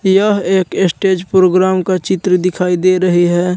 यह एक stage programme का चित्र दिखाई दे रही है।